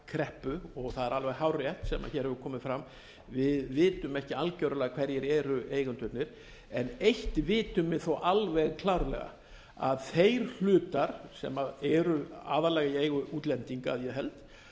kreppu og það er alveg hárrétt sem hér hefur komið fram við vitum ekki algjörlega hverjir eru eigendurnir eitt vitum við þó alveg klárlega að þeir hlutar sem eru aðallega í eigu útlendinga að ég held